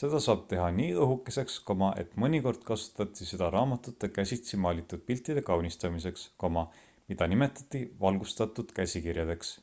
seda saab teha nii õhukeseks et mõnikord kasutati seda raamatute käsitsi maalitud piltide kaunistamiseks mida nimetati valgustatud käsikirjadeks